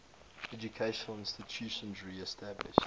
educational institutions established